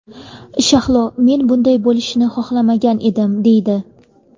Shahlo ‘men bunday bo‘lishini kutmagan edim’, deydi.